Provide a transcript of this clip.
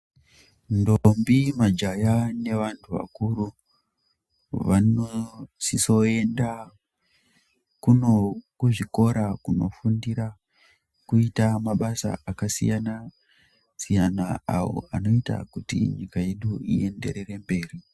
Ndombi majaya nevantu vakuru vanosisa kuenda kuno kuzvikora kunofundira kuita mabasa akasiyana siyana ayo anoita kuti nyika ienderere mberi.